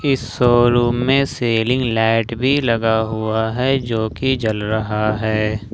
इस शोरूम में ceiling light भी लगा हुआ है जो कि जल रहा है ।